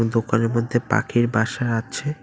দোকানের মধ্যে পাখির বাসা আছে।